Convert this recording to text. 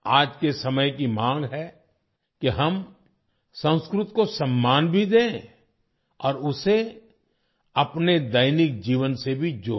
आज के समय की मांग है कि हम संस्कृत को सम्मान भी दें और उसे अपने दैनिक जीवन से भी जोड़ें